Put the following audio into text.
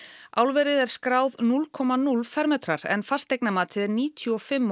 álverið er skráð núll komma núll fermetrar en fasteignamatið er níutíu og fimm